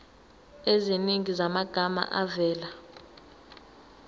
eziningi zamagama avela